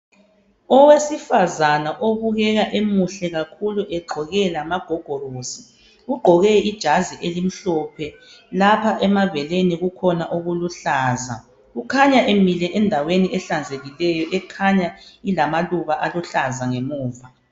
Owesifazana obukeka emuhle kakhulu egqoke lamagogorosi, ugqoke ijazi elimhlophe, lapha emabeleni kukhona okuluhlaza, ukhanya Emile endaweni ehlanzekileyo ekhanya ilamaluba aluhlaza ngemuva.